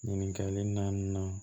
Ɲininkali nan